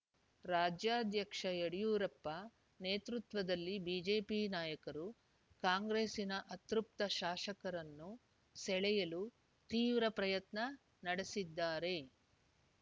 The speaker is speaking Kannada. ರಾಜ್ಯಾಧ್ಯಕ್ಷ ಯಡಿಯೂರಪ್ಪ ನೇತೃತ್ವದಲ್ಲಿ ಬಿಜೆಪಿ ನಾಯಕರು ಕಾಂಗ್ರೆಸ್ಸಿನ ಅತೃಪ್ತ ಶಾಸಕರನ್ನು ಸೆಳೆಯಲು ತೀವ್ರ ಪ್ರಯತ್ನ ನಡೆಸಿದ್ದಾರೆ